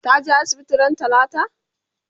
ta je asibiti ran talata?